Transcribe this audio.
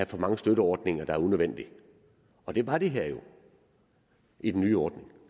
mange støtteordninger der er unødvendige og det var det her jo i den nye ordning og